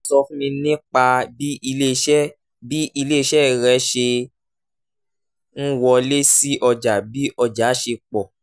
sọ fún mi nípa bí ilé-iṣẹ́ bí ilé-iṣẹ́ rẹ ṣe ń wọlé sí ọjà bí ọjà ṣe pọ̀